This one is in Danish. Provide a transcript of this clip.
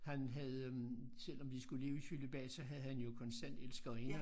Han havde øh selvom de skulle leve i cølibat så havde han jo konstant elskerinder